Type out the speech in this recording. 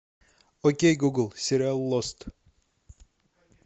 окей гугл сериал лост